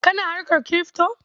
Kana harkar kirifto?